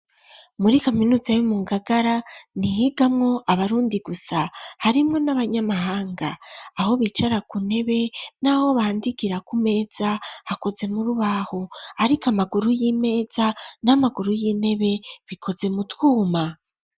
Muri kaminuza yomu ngagara ,ntihigamwo abarundi gusa ,harimwo n'abanyamahanga ,aho bicara ku ntebe n'aho bandikira ku meza, hakoze murubaho, ariko amakuru y'imeza n'amakuru y'intebe bikoze mu twuma.